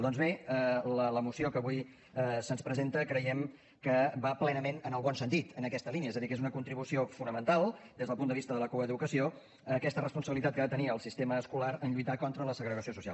doncs bé la moció que avui se’ns presenta creiem que va plenament en el bon sentit en aquesta línia és a dir que és una contribució fonamental des del punt de vista de la coeducació a aquesta responsabilitat que ha de tenir el sistema escolar en lluitar contra la segregació social